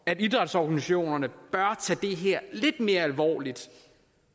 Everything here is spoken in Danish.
at idrætsorganisationerne bør tage det her lidt mere alvorligt